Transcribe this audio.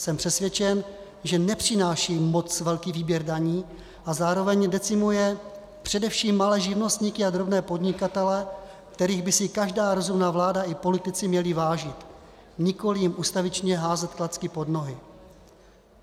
Jsem přesvědčen, že nepřináší moc velký výběr daní a zároveň decimuje především malé živnostníky a drobné podnikatele, kterých by si každá rozumná vláda i politici měli vážit, nikoliv jim ustavičně házet klacky pod nohy.